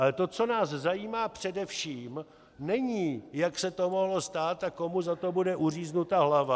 Ale to, co nás zajímá především, není, jak se to mohlo stát a komu za to bude uříznuta hlava.